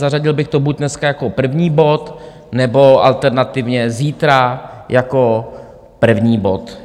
Zařadil bych to buď dneska jako první bod, nebo alternativně zítra jako první bod.